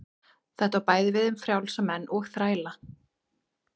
Þetta á bæði við um frjálsa menn og þræla.